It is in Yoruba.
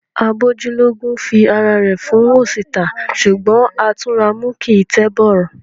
Agbójú lógún fi ará rẹ fun oṣi ta. Ṣugbọn Atunramu kii n tẹ bọrọ.